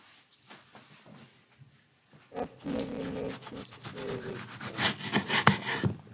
Una, stefnir í mikið stuð í kvöld?